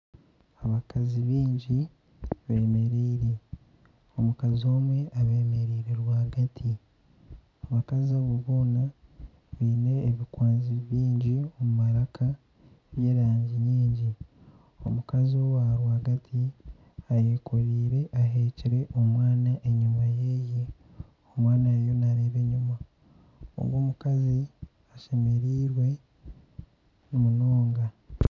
Abakazi baingi beemereire, omukazi omwe abeemereire rwagati, abakazi aba boona baine ebikwanzi baingi omu maraka by'erangi nyingi omukazi owarwagati ahekire omwana enyima yeye, omwana ariyo naareeba enyima, ogwo omukazi ashemereirwe munonga